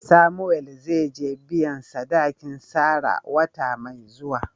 Samuel zai je biyan sadakin Sarah wata mai zuwa.